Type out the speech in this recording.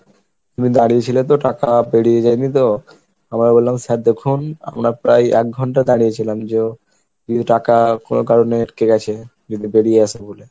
তুমি দাঁড়িয়েছিলে তো টাকা বেরিয়ে যায়নি তো? আমরা বললাম sir দেখুন আমরা প্রায় এক ঘন্টা দাঁড়িয়ে ছিলাম যে ও কিছু টাকা কোনো কারণে আটকে গেছে যদি বেরিয়ে আসে বলে।